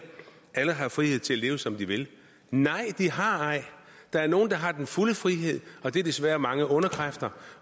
alle har frihed til at leve som de vil nej de har ej der er nogle der har den fulde frihed og det er desværre mange onde kræfter